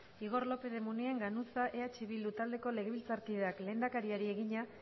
igor lópez de munain ganuza eh bildu taldeko legebiltzarkideak lehendakariari egina